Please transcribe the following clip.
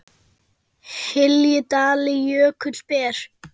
hylji dali jökull ber